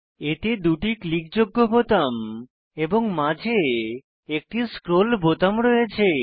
এতে 2 টি ক্লিক যোগ্য বোতাম এবং মাঝে একটি স্ক্রোল বোতাম রয়েছে